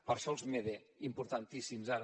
per això els mede importantíssims ara